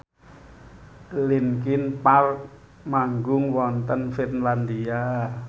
linkin park manggung wonten Finlandia